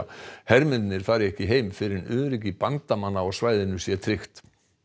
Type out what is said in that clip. hermennirnir fari ekki heim fyrr en öryggi bandamanna á svæðinu sé tryggt